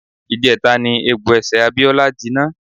Ìjẹta ni egbò ẹsẹ̀ Abíọ́lá jinná.